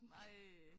Ej